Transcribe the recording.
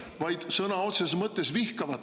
… vaid sõna otseses mõttes vihkab teid.